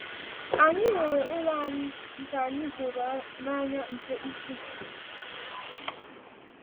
Anyị rere ụlọ anyị nke anyị hụrụ n’anya nke ukwuu.